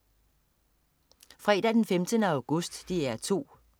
Fredag den 15. august - DR 2: